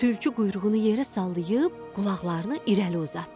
Tülkü quyruğunu yerə sallayıb qulaqlarını irəli uzatdı.